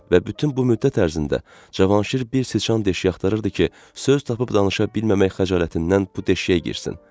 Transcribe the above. Və bütün bu müddət ərzində Cavanşir bir siçan deşiyi axtarırdı ki, söz tapıb danışa bilməmək xəcalətindən bu deşiyə girsin.